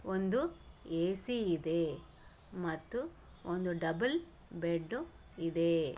ಒಂದು ಎ_ಸಿ ಇದೆ ಮತ್ತು ಒಂದು ಡಬಲ್ ಬೆಡ್ರೂಮ್ ಇದೆ